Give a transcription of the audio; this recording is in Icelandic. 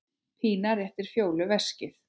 Pína réttir Fjólu veskið.